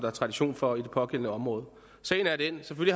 er tradition for i det pågældende område sagen er den at vi